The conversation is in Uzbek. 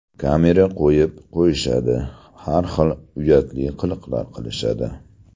Kamera qo‘yib qo‘yishadi, har xil uyatli qiliqlar qilishadi.